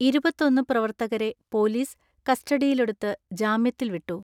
ഇരുപത്തൊന്ന് പ്രവർത്തകരെ പോലീസ് കസ്റ്റഡിയിലെടുത്ത് ജാമ്യത്തിൽ വിട്ടു.